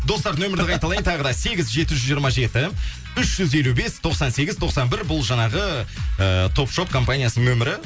достар нөмірді қайталайын тағы да сегіз жеті жүз жиырма жеті үш жүз елу бес тоқсан сегіз тоқсан бір бұл жаңағы ыыы топ шоп компаниясының нөмірі